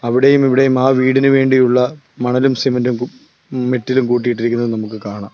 അവിടെയും ഇവിടെയും ആ വീടിനു വേണ്ടിയുള്ള മണലും സിമന്റും മിറ്റിലും കൂട്ടിയിട്ടിരിക്കുന്നത് നമുക്ക് കാണാം.